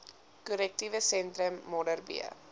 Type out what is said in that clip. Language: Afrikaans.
korrektiewe sentrum modderbee